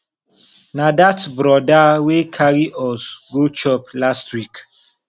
na dat brother wey carry us go chop last week